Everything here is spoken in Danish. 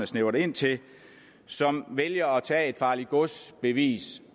snævret ind til som vælger at tage et farligt gods bevis